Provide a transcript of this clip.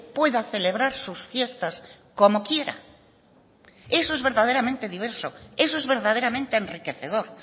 pueda celebrar sus fiestas como quiera eso es verdaderamente diverso eso es verdaderamente enriquecedor